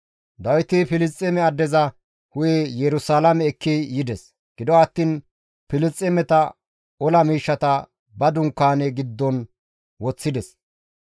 Dawiti Filisxeeme addeza hu7e Yerusalaame ekki yides; gido attiin Filisxeemeta ola miishshata ba dunkaane giddon woththides.